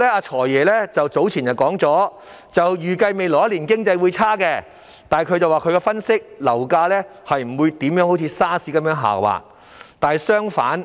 "財爺"早前表示，預計未來1年經濟轉差，但根據他的分析，樓價不會如 SARS 的時候那樣下滑。